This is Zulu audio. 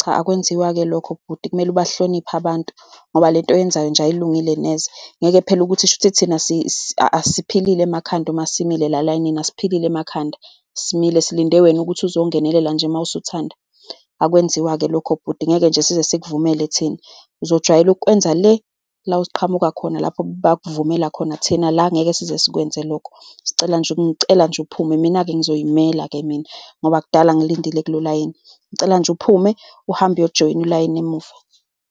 Cha, akwenziwa-ke lokho bhuti. Kumele ubahloniphe abantu, ngoba lento oyenzayo nje ayilungile neze. Ngeke phela ukuthi kusho ukuthi thina asiphilile emakhanda. Uma simile elayinini, asiphilile emakhanda? Simile, silinde wena ukuthi uzongenelela nje mawusuthanda. Akwenziwa-ke lokho bhuti. Ngeke nje size sikuvumele thina. Uzojwayela ukwenza le la oqhamuka khona, lapho bakuvumela khona. Thina la ngeke size sikwenze lokho. Sicela nje, ngicela nje uphume. Mina-ke ngizoyimela-ke mina, ngoba kudala ngilindile kulo layini. Ngicela nje uphume, uhambe uyojoyina ulayini emuva.